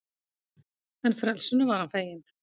En frelsinu var hann feginn.